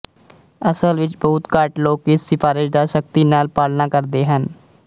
ਅਸਲ ਵਿੱਚ ਬਹੁਤ ਘੱਟ ਲੋਕ ਇਸ ਸਿਫਾਰਸ਼ ਦਾ ਸਖਤੀ ਨਾਲ ਪਾਲਣਾ ਕਰਦੇ ਹਨ